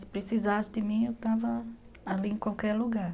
Se precisasse de mim, eu estava ali em qualquer lugar.